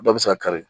Dɔ bɛ se ka kari